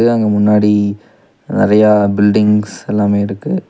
அங்க முன்னாடி நெறையா பில்டிங்ஸ் எல்லாமே இருக்கு.